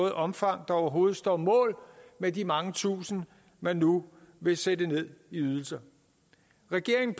et omfang der overhovedet står mål med de mange tusinde man nu vil sætte ned i ydelser regeringen